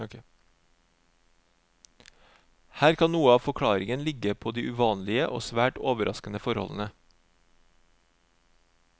Her kan noe av forklaringen ligge på de uvanlige og svært overraskende forholdene.